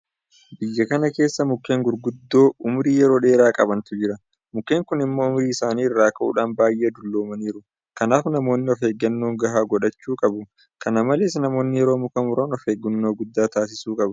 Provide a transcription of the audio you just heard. Biyya kana keessa mukkeen gurguddoo ummurii yeroo dheeraa qabantu jira. Mukkeen kun immoo ummurii isaanii irraa ka'uudhaan baay'ee dulloomaniiru. Kanaaf namoonni ofeeggannoo gahaa godhachuu qabu. Kana malees namoonni yeroo muka muran ofeeggannoo guddaa taasisuu qabu.